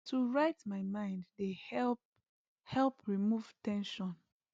to write my mind dey help help remove ten sion